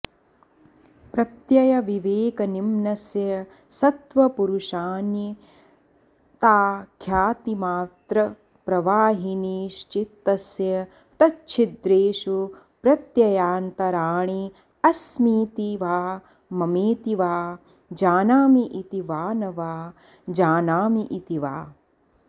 प्रत्ययविवेकनिम्नस्य सत्त्वपुरुषान्यताख्यातिमात्रप्रवाहिनीश्चित्तस्य तच्छिद्रेषु प्रत्ययान्तराणि अस्मीति वा ममेति वा जानामीति वा न जानामीति वा